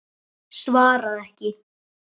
Svaraði ekki.